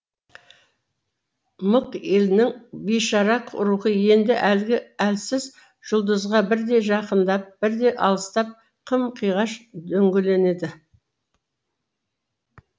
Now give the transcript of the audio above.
мық елінің бейшара рухы енді әлгі әлсіз жұлдызға бірде жақындап бірде алыстап қым қиғаш дөңгеленді